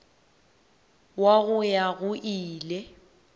wa go ya go ile